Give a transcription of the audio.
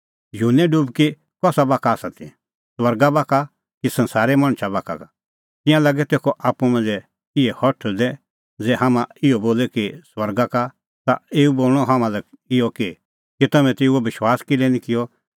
युहन्ने डुबकी कसा बाखा का ती स्वर्गा बाखा का कि संसारे मणछा बाखा का तिंयां लागै तेखअ आप्पू मांझ़ै इहै हठल़दै ज़ै हाम्हैं इहअ बोले कि स्वर्गा का तै एऊ बोल़णअ हाम्हां लै इहअ कि तै तम्हैं तेऊओ विश्वास किल्है निं किअ